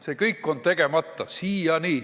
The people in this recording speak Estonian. See kõik on siiani tegemata.